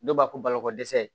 Dɔw b'a fɔ balokodɛsɛ